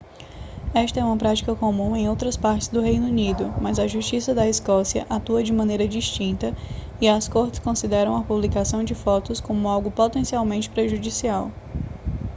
esta é uma prática comum em outras partes do reino unido mas a justiça da escócia atua de maneira distinta e as cortes consideram a publicação de fotos como algo potencialmente prejudicial